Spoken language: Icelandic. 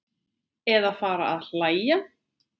Eða fara að hlæja.